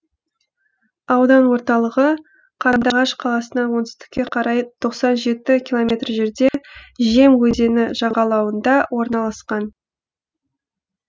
аудан орталығы қандыағаш қаласынан оңтүстікке қарай тоқсан жеті километр жерде жем өзені жағалауында орналасқан